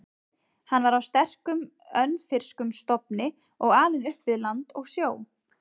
Hann var af sterkum, önfirskum stofni og alinn upp við land og sjó.